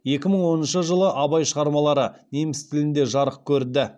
екі мың оныншы жылы абай шығармалары неміс тілінде жарық көрді